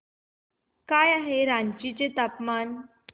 काय आहे रांची चे तापमान